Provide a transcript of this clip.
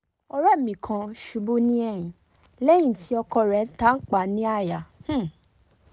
ore mi kan ṣubu ni ẹhin lẹhin ti ọkọ re tanpa ni àyà um